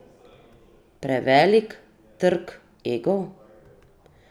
Prevelik trk egov?